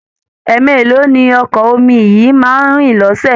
Ẹẹ̀mélòó ni Ọkọ̀ omi yìí máa ń rìn lọ́ṣẹ̀?